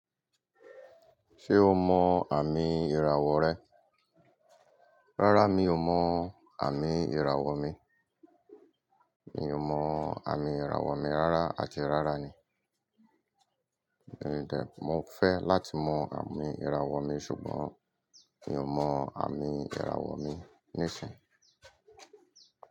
Ṣé o mọ àmì ìràwọ̀ rẹ? Rárá mi ò mọ àmì ìràwọ̀ mi. Mi ò mọ àmì ìràwọ̀ mi rárá àti rárá ni. Mo fẹ́ láti mọ àmì ìràwọ̀ mi, ṣùgbọ́n mi ò mọ àmì ìràwọ̀ mi níìsín.